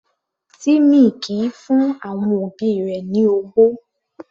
Timmy kìí fún àwọn òbí rẹ̀ ní ọwọ́.